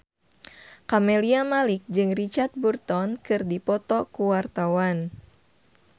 Camelia Malik jeung Richard Burton keur dipoto ku wartawan